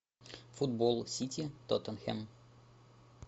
футбол сити тоттенхэм